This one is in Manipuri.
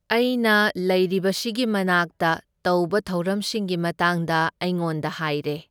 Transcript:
ꯑꯩꯅ ꯂꯩꯔꯤꯕꯁꯤꯒꯤ ꯃꯅꯥꯛꯇ ꯇꯧꯕ ꯊꯧꯔꯝꯁꯤꯡꯒꯤ ꯃꯇꯥꯡꯗ ꯑꯩꯉꯣꯟꯗ ꯍꯥꯏꯔꯦ꯫